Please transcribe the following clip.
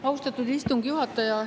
Austatud istungi juhataja!